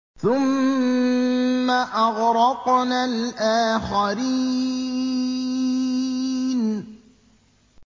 ثُمَّ أَغْرَقْنَا الْآخَرِينَ